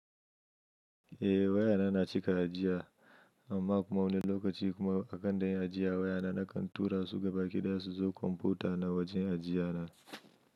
Eh waya na cika ajiya amma kuma wani lokaci kuma a kan dai ajiya waya na nakan tura su gaba ki da su zo kwamfuta na wajen ajiya na.